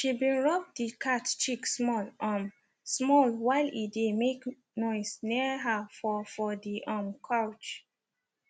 she been rub the cat cheek small um small while e dey make noise near her for for the um couch